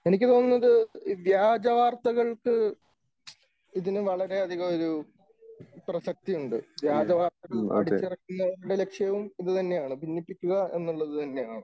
എനിക്ക് തോന്നുന്നത് വ്യാജവാർത്തകൾക്ക് ഇതിന് വളരെയധികം ഒരു പ്രസക്തിയുണ്ട്. വ്യാജവാർത്തകൾ അടിച്ചിറക്കുന്നവരുടെ ലക്ഷ്യവും ഇതുതന്നെയാണ് ഭിന്നിപ്പിക്കുക എന്നുള്ളത് തന്നെയാണ്.